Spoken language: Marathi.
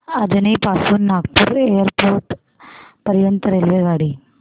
अजनी पासून नागपूर एअरपोर्ट पर्यंत रेल्वेगाडी